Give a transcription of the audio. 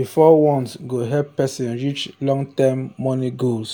before wants go help person reach long-term money goals.